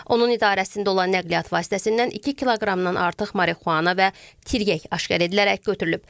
Onun idarəsində olan nəqliyyat vasitəsindən 2 kqdan artıq marixuana və tiryək aşkar edilərək götürülüb.